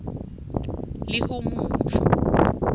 lihumusho